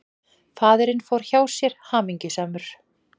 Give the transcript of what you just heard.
Faðirinn fór hjá sér, hamingjusamur.